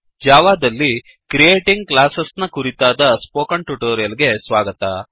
ಜಾವದಲ್ಲಿ creating class ನ ಕುರಿತಾದ ಸ್ಪೋಕನ್ ಟ್ಯುಟೋರಿಯಲ್ ಗೆ ಸ್ವಾಗತ